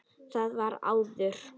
Það var áður.